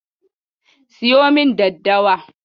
Siyo min daddawa.